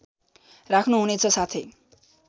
राख्नु हुनेछ साथै